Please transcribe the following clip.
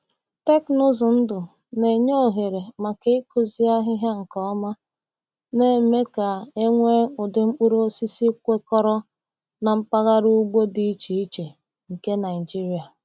Teknụzụ ndụ na-enye ohere maka ịkụzụ ahịhịa nke ọma, na-eme ka e nwee ụdị mkpụrụ osisi kwekọrọ na mpaghara ugbo dị iche iche nke Naijiria.